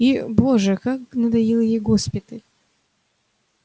и боже как надоел ей госпиталь